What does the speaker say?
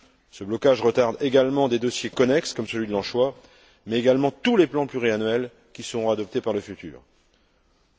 Ce blocage retarde également des dossiers connexes comme celui de l'anchois mais également tous les plans pluriannuels qui seront adoptés à l'avenir.